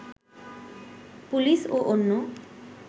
police ও অন্য